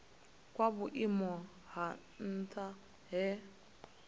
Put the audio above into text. kwa vhuimo ha nha he